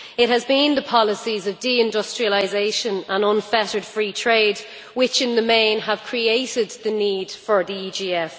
It has been the policies of deindustrialisation and unfettered free trade which in the main have created the need for the EGF.